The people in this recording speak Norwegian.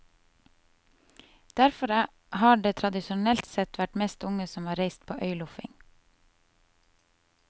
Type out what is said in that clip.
Derfor har det tradisjonelt sett vært mest unge som har reist på øyloffing.